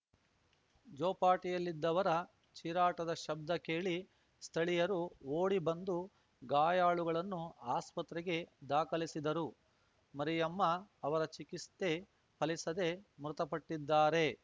ಜೋಪಾಟಿಯಲ್ಲಿದ್ದವರ ಚೀರಾಟದ ಶಬ್ದ ಕೇಳಿ ಸ್ಥಳೀಯರು ಓಡಿ ಬಂದು ಗಾಯಾಳುಗಳನ್ನು ಆಸ್ಪತ್ರೆಗೆ ದಾಖಲಿಸಿದರು ಮರಿಯಮ್ಮ ಅವರ ಚಿಕಿಸ್ತೆ ಫಲಿಸದೇ ಮೃತಪಟ್ಟಿದ್ದಾರೆ